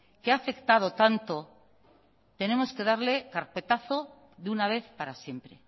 que ha afectado tanto tenemos que darle carpetazo de una vez para siempre